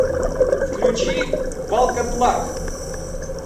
включи волкодлак